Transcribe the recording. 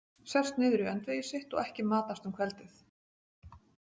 Sest niður í öndvegi sitt og ekki matast um kveldið.